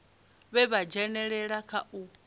vhe vha dzhenelela kha u